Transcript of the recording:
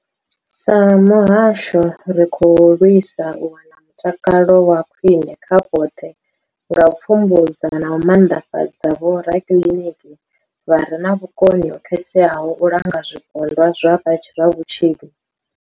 Sa muhasho, ri khou lwisa u wana mutakalo wa khwine kha vhoṱhe nga u pfumbudza na u maanḓafhadza vhorakiḽiniki vha re na vhukoni ho khetheaho u langa zwipondwa zwa vhutshinyi.